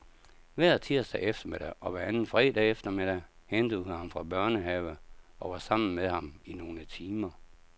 Hver tirsdag eftermiddag og hver anden fredag eftermiddag hentede hun ham fra børnehave og var sammen med ham i nogle timer.